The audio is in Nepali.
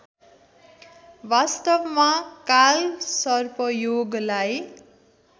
वास्तवमा कालसर्पयोगलाई